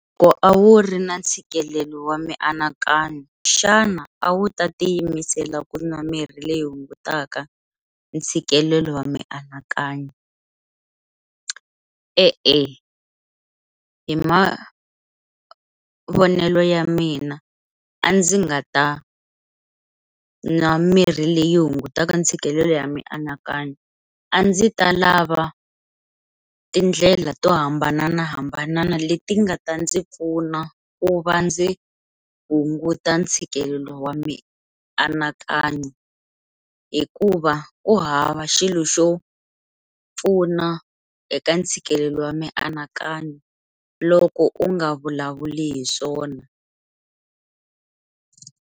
Loko a wu ri na ntshikelelo wa mianakanyo xana a wu ta tiyimisela ku nwa mirhi leyi hungutaka ntshikelelo wa mianakanyo, E-e hi ma mavonelo ya mina a ndzi nga ta nwa mirhi leyi hungutaka ntshikelelo ya mianakanyo a ndzi ta lava tindlela to hambanahambana leti nga ta ndzi pfuna ku va ndzi ku hunguta ntshikelelo wa mianakanyo hikuva ku hava xilo xo pfuna eka ntshikelelo wa mianakanyo loko u nga vulavuli hi swona.